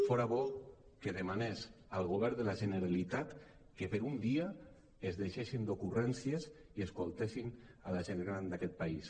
fora bo que demanés al govern de la generalitat que per un dia es deixessin d’ocurrèn·cies i escoltessin la gent gran d’aquest país